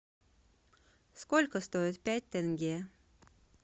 сколько стоит пять тенге